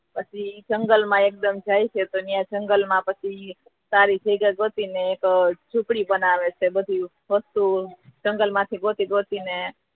પછી જંગલ માં એકદમ જાય છે તો જંગલ માં પછી સારી જગ્યા ગોતી ને ઝોપડી બનાવે છે વધુ વસ્તુઓ જંગલ માથી ગોતી ગોતી ને